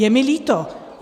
Je mi líto.